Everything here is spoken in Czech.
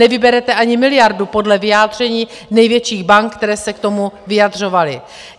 Nevyberete ani miliardu podle vyjádření největších bank, které se k tomu vyjadřovaly.